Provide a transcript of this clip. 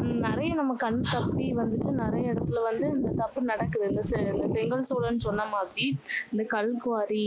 உம் நிறைய நமக்கு கண்தப்பி வந்துட்டு நிறைய இடத்துல வந்து இந்த தப்பு நடக்குது. இந்த இந்த செங்கல் சூளைன்னு சொன்ன மாதிரி இந்த கல்குவாரி,